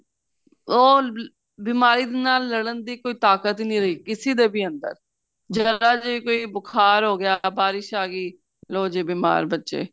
ਉਹ ਬਿਮਾਰੀ ਨਾਲ ਲੜਣ ਦੀ ਕੋਈ ਤਾਕਤ ਨਹੀਂ ਰਹੀ ਕਿਸੇ ਦੇ ਵੀ ਅੰਦਰ ਜੇਰਾ ਜਾ ਕੋਈ ਬੁਖਾਰ ਹੋ ਗਿਆ ਬਾਰਿਸ਼ ਆ ਗਈ ਲੋ ਜੀ ਬੀਮਾਰ ਬੱਚੇ